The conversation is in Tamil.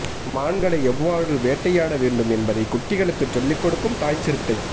மான்களை எவ்வாறு வேட்டையாட வேண்டும் என்பதை குட்டிகளுக்கு சொல்லி கொடுக்கும் தாய் சிறுத்தை